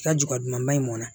I ka juba duman in mɔnna